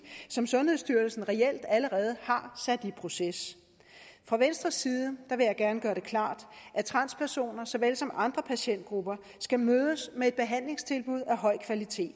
som sundhedsstyrelsen reelt allerede har sat i proces fra venstres side vil jeg gerne gøre det klart at transpersoner såvel som andre patientgrupper skal mødes med behandlingstilbud af høj kvalitet